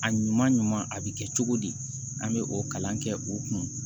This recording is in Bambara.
A ɲuman ɲuman a bɛ kɛ cogo di an bɛ o kalan kɛ o kun